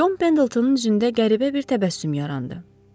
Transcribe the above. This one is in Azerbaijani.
Çon Pendiltonun üzündə qəribə bir təbəssüm yarandı.